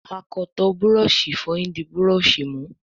akọtọ Búrọ̀ọ̀ṣì ìfọyín dì Búrọ̀ọ̀ṣì mú.